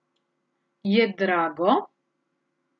Je drago?